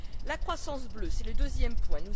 La croissance bleue, c'est le deuxième point.